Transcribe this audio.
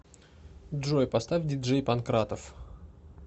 джой поставь диджей панкратов